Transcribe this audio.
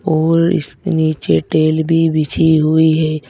और इसके नीचे टेल भी बिछी हुई है।